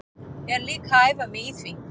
Er líka að æfa mig í því.